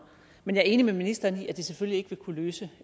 men jeg er enig med ministeren i at det selvfølgelig ikke vil kunne løse